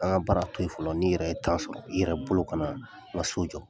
An ka baara to yen fɔlɔ, n'i yɛrɛ ye sɔrɔ, i yɛrɛ bolo ka na ma jɔ